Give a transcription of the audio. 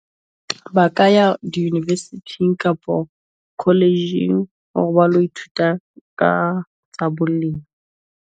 Ba ka ya di-university kapo college hore ba lo ithuta ka tsa lena .